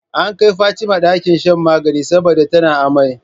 An kai Fatima ɗakin shan magana saboda tana amai